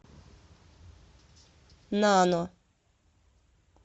нано